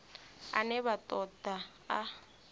ane vha ṱo ḓa a